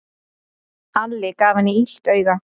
Alli gaf henni illt auga.